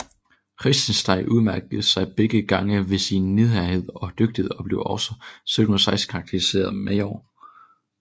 Reitzenstein udmærkede sig begge gange ved sin nidkærhed og dygtighed og blev også 1716 karakteriseret major